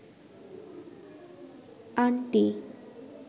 aunty